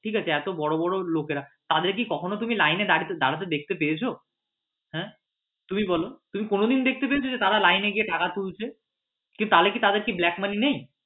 ঠিক আছে এতো বড় বড় লোকেরা তাদের কি কখনো তুমি line এ দাঁড়াতে দেখতে পেয়েছ? হ্যাঁ তুমি বল তুমি কোনোদিন দেখতে পেয়েছ? তারা line এ গিয়ে টাকা তুলছে কি তাহলে তাদের কি black money নেই?